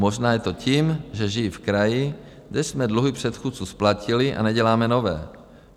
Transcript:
Možná je to tím, že žiji v kraji, kde jsme dluhy předchůdců splatili a neděláme nové.